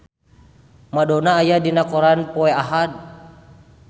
Madonna aya dina koran poe Ahad